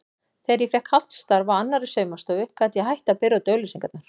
Þegar ég fékk hálft starf á annarri saumastofu gat ég hætt að bera út auglýsingarnar.